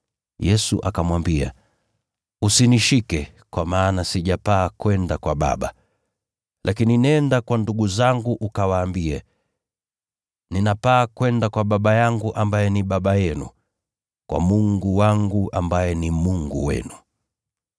Yesu akamwambia, “Usinishike, kwa maana sijapaa kwenda kwa Baba. Lakini nenda kwa ndugu zangu ukawaambie, ‘Ninapaa kwenda kwa Baba yangu ambaye ni Baba yenu, kwa Mungu wangu ambaye ni Mungu wenu.’ ”